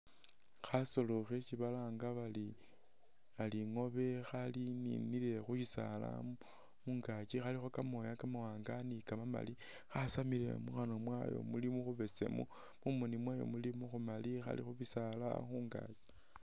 Khasoolo khesi balanga bari bari ingobe khaninile khu bisaala khungaaki khàlikho kamooya kamawanga ni kamamali, khasamile mukhanwa mwayo muli mukhubesemu, mumoni mwayo muli mukhumali, khali khu bisaala khungaaki